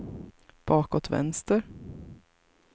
bakåt vänster